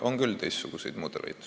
On küll teistsuguseid mudeleid.